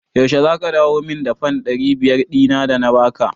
Yaushe za ka dawo min da fan ɗari biyar ɗin da na ba ka?